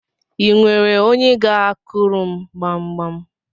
I nwere onye ga-akuru m gbamgbam?